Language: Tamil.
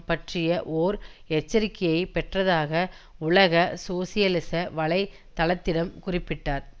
பற்றிய ஓர் எச்சரிக்கையை பெற்றதாக உலக சோசியலிச வலை தளத்திடம் குறிப்பிட்டார்